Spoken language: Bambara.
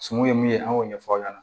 Sungun ye min ye an y'o ɲɛfɔ aw ɲɛna